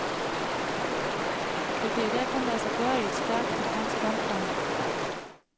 Det kan i dag kun lade sig gøre i et stærkt begrænset omfang.